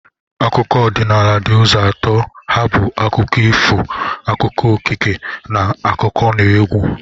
Akụkọ ọdịnala di uzo atọ ha bu akụkọ ifo, akụkọ okike, na akụkọnaegwu